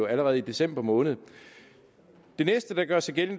allerede i december måned det næste der gjorde sig gældende